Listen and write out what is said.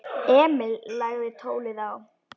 Emil lagði tólið á.